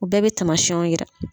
U bɛɛ bɛ tamasiɔnw jira.